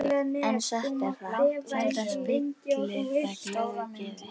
En satt er það, sjaldan spillir það glöðu geði.